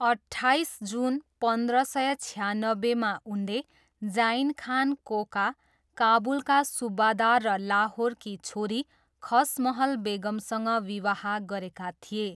अट्ठाइस जुन पन्ध्र सय छयानब्बेमा उनले जाइन खान कोका, काबुलका सुब्बादार र लाहोरकी छोरी खसमहल बेगमसँग विवाह गरेका थिए।